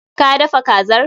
Ka dafa kazar?